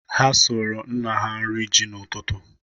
Ha sụrụ nna ha nri ji n'ụtụtụ.